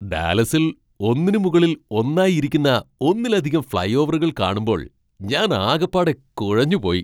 ഡാലസിൽ ഒന്നിന് മുകളിൽ ഒന്നായി ഇരിക്കുന്ന ഒന്നിലധികം ഫ്ളൈ ഓവറുകൾ കാണുമ്പോൾ ഞാൻ ആകപ്പാടെ കുഴഞ്ഞു പോയി.